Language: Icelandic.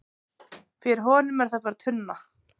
fyrir honum er það bara tunna